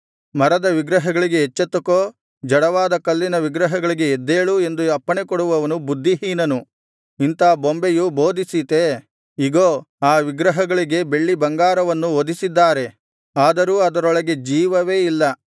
ಮರದ ವಿಗ್ರಹಗಳಿಗೆ ಎಚ್ಚೆತ್ತುಕೋ ಜಡವಾದ ಕಲ್ಲಿನ ವಿಗ್ರಹಗಳಿಗೆ ಎದ್ದೇಳು ಎಂದು ಅಪ್ಪಣೆಕೊಡುವವನು ಬುದ್ಧಿಹೀನನು ಇಂಥ ಬೊಂಬೆಯು ಬೋಧಿಸೀತೇ ಇಗೋ ಆ ವಿಗ್ರಹಗಳಿಗೆ ಬೆಳ್ಳಿಬಂಗಾರವನ್ನು ಹೊದಿಸಿದ್ದಾರೆ ಆದರೂ ಅದರೊಳಗೆ ಜೀವವೇ ಇಲ್ಲ